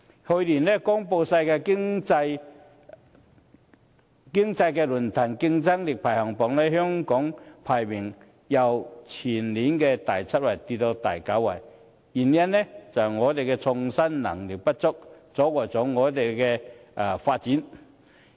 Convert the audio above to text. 去年公布的世界經濟論壇競爭力排行榜，香港排名由前年的第七位跌至第九位，原因就是創新能力不足，阻礙了我們的發展。